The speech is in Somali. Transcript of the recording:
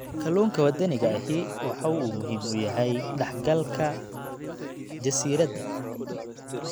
Kalluunka waddaniga ahi waxa uu muhiim u yahay dhaxalka jasiiradda.